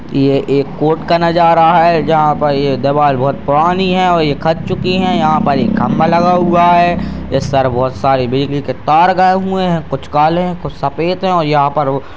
ये एक कोर्ट का नजारा है जहाँ पर ये दीवार बहुत पुरानी है और ये खत चुकी हैं यहाँ पर एक खम्भा लगा हुआ है | इस पर बहुत सारी बिजली के तार गए हुए हैं कुछ काले हैं कुछ सफ़ेद हैं और यहाँ पे वो --